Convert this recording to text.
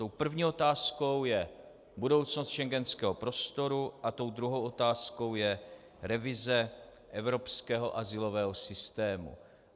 Tou první otázkou je budoucnost schengenského prostoru a tou druhou otázkou je revize evropského azylového systému.